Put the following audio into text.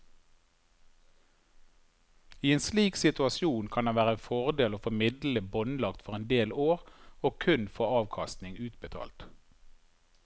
I en slik situasjon kan det være en fordel å få midlene båndlagt for en del år og kun få avkastningen utbetalt.